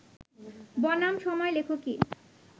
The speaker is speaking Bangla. বনাম সময় লেখকেই